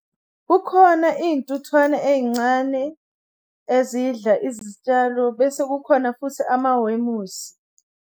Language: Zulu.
Kukhona iy'ntuthwane ey'ncane ezidla izitshalo bese kukhona futhi amawemusi.